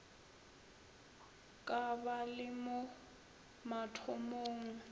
ka ba le mo mathomong